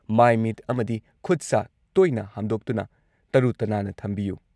ꯃꯥꯏ ꯃꯤꯠ ꯑꯃꯗꯤ ꯈꯨꯠ ꯁꯥ ꯇꯣꯏꯅ ꯍꯥꯝꯗꯣꯛꯇꯨꯅ ꯇꯔꯨ ꯇꯅꯥꯟꯅ ꯊꯝꯕꯤꯌꯨ ꯫